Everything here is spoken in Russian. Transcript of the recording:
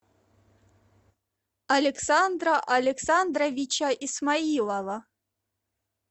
александра александровича исмоилова